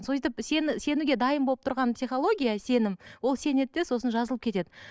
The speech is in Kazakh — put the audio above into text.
сөйтіп сенуге дайын болып тұрған психология сенім ол сенеді де сосын жазылып кетеді